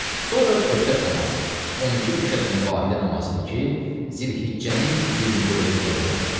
Sonra Bösət namazı, 12 rükət Mübahilə namazıdır ki, Zilhiccənin 24-də qılınır.